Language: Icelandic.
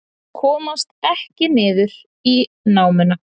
Komast ekki niður í námuna